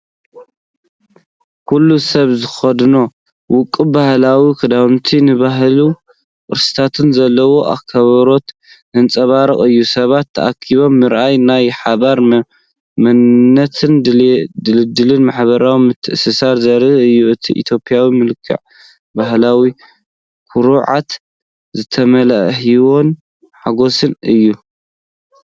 ኩሉ ሰብ ዝኽደኖ ውቁብ ባህላዊ ክዳውንቲ ንባህልን ቅርስታትን ዘለዎ ኣኽብሮት ዘንጸባርቕ እዩ። ሰባት ተኣኪቦም ምርኣይ ናይ ሓባር መንነትን ድልዱል ማሕበራዊ ምትእስሳርን ዘርኢ እዩ። እቲ ኢትዮጵያዊ መልክዕ ብባህላዊ ኩርዓት ዝተመልአ፣ ህያውን ሓጎስን እዩ።